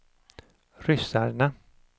ryssarna